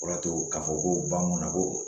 O y'a to ka fɔ ko banna ko